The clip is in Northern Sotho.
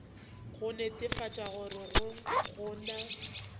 go netefatša gore go na